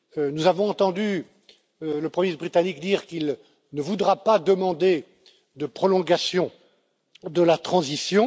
Nous avons entendu le premier ministre britannique dire qu'il ne voudra pas demander de prolongation de la transition.